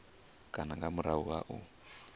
kana nga murahu ha u